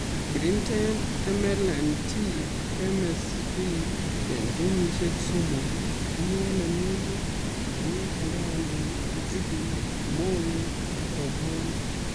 Kirinde MLND ak MSV eng kenyisiek somok iwale minutik kou mukandek, njuguk, mogek ak rabwonik